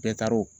Bɛɛ taara o